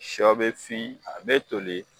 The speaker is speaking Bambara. Shɔ bɛ fin a bɛ toli.